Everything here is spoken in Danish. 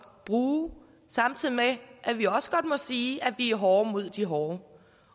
bruge samtidig med at vi også godt må sige at vi er hårde mod de hårde